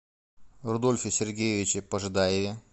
рудольфе сергеевиче пожидаеве